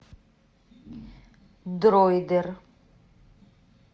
дройдер